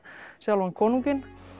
sjálfan konunginn